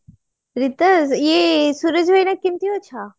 ରିତେଶ ଏ ସୂରଜ ଭାଇନା କେମତି ଅଛ